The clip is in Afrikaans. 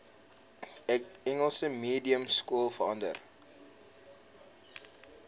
engels mediumskole verander